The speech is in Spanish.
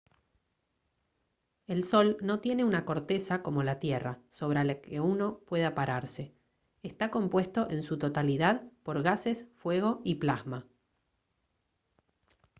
el sol no tiene una corteza como la tierra sobre la que uno pueda pararse está compuesto en su totalidad por gases fuego y plasma